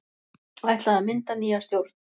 Ætlað að mynda nýja stjórn